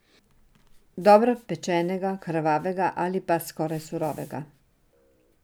Dobro pečenega, krvavega ali pa skoraj surovega.